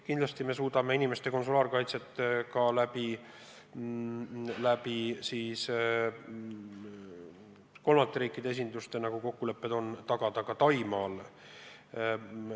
Kindlasti me suudame inimeste konsulaarkaitset kolmandate riikide esinduste kaudu tagada ka Taimaal.